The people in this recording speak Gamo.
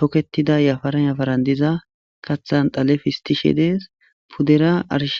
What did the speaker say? toketida yafaran yafaran diza kathan dhale pistishe dees pudera arishe